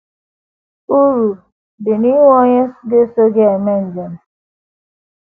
Uru dị n’inwe onye ga - eso gị eme njem